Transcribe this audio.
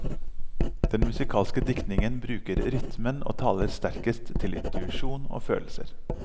Den musikalske diktning bruker rytmen og taler sterkest til intuisjon og følelser.